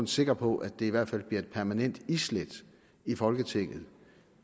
sikker på at det i hvert fald bliver et permanent islæt i folketinget